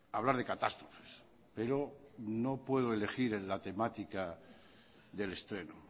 hablar de catástrofes pero no puedo elegir en la temática del estreno